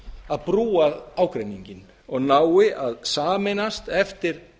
að brúa ágreininginn og nái að sameinast eftir